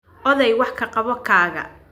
Odey wax ka qabo kaaga